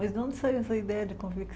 Mas de onde saiu essa ideia de